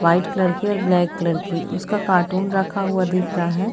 White colour की और black colour की उसका कार्टून रखा हुआ दिख रहा है।